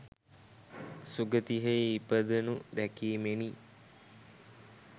සුගතියෙහි ඉපදෙනු දැකීමෙනි.